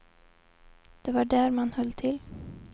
Det var där man höll till.